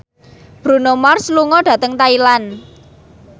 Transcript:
Bruno Mars lunga dhateng Thailand